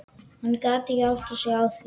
Hann gat ekki áttað sig á því.